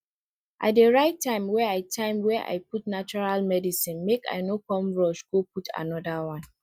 i dey write time wey i time wey i put natural medicine make i no come rush go put anoda one